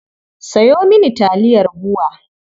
Sayo mini taliyar BUA.